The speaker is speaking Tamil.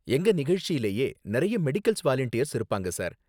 எங்க நிகழ்ச்சிலேயே நிறைய மெடிக்கல் வாலண்டியர்ஸ் இருப்பாங்க, சார்